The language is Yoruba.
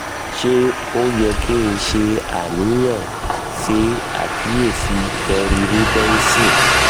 um se o ye ki n se aniyan? se akiyesi kerri reubenson